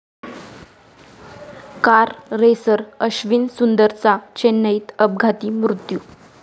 car racer Ashwin सुंदरचा चेन्नईत अपघाती मृत्यू